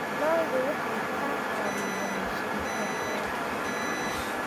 Lo'du waxay ka caawiyaan shaqada beerta.